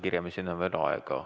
Kuke kiremiseni on veel aega.